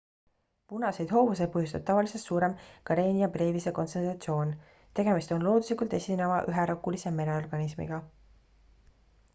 punaseid hoovuseid põhjustab tavalisest suurem karenia brevise kontsentratsioon tegemist on looduslikult esineva üherakulise mereorganismiga